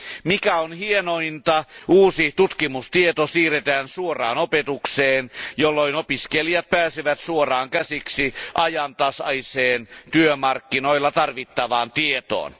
Mikä hienointa, uusi tutkimustieto siirretään suoraan opetukseen, jolloin opiskelijat pääsevät suoraan käsiksi ajantasaiseen työmarkkinoilla tarvittavaan tietoon.